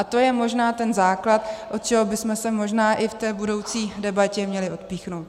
A to je možná ten základ, od čeho bychom se možná i v té budoucí debatě měli odpíchnout.